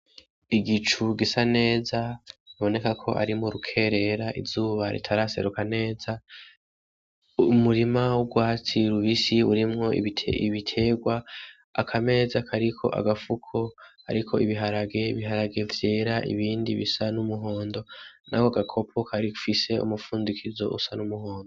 Igicu gisa neza biboneka ko ari muru kerera izuba ritaraseruka neza ,umurima w'urwatsi rubisi urimwo ibiterwa, akameza kariko agafuko kariko ibiharage vyera ibindi bisa n'umihondo nako gakopo gafise umupfundikizo usa n'umuhondo.